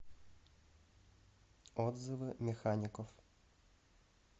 отзывы механикоф